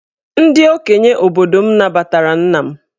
Ndị okenye obodo nabatara nna m.